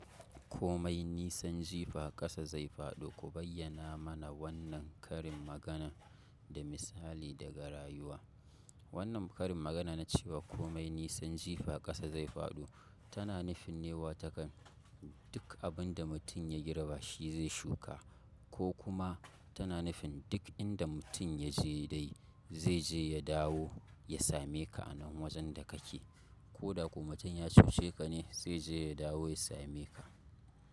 Komai nisan jifa ƙasa zai faɗo, ku bayyana mana wannan karin maganar da misali daga rayuwa. Wannan karin magana na cewa komai nisan jifa ƙasa zai faɗo, tana nufin ne watakan duk abinda mutum ya girba shi zai shuka, ko kuma tana nufin duk inda mutum ya je dai zai je ya dawo ya same ka a nan wajen da kake, ko da ko mutum ya cuce ka ne zai je ya dawo ya same ka.